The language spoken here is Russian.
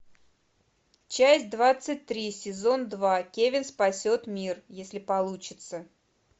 часть двадцать три сезон два кевин спасет мир если получится